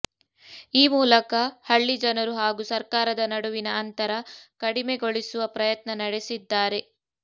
ಈ ಮೂಲಕ ಹಳ್ಳಿ ಜನರು ಹಾಗೂ ಸರ್ಕಾರದ ನಡುವಿನ ಅಂತರ ಕಡಿಮೆಗೊಳಿಸುವ ಪ್ರಯತ್ನ ನಡೆಸಿದ್ದಾರೆ